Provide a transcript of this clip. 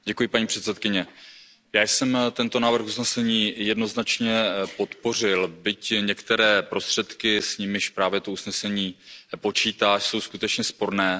Paní předsedající, já jsem tento návrh usnesení jednoznačně podpořil, byť některé prostředky, s nimiž právě toto usnesení počítá, jsou skutečně sporné.